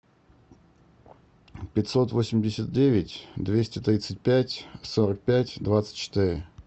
пятьсот восемьдесят девять двести тридцать пять сорок пять двадцать четыре